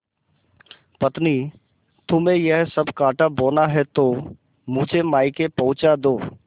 पत्नीतुम्हें यह सब कॉँटा बोना है तो मुझे मायके पहुँचा दो